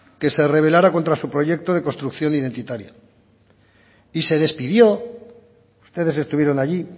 que se revelara contra su proyecto de construcción identitaria y se despidió ustedes estuvieron allí